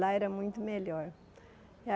Lá era muito melhor.